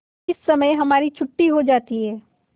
इस समय हमारी छुट्टी हो जाती है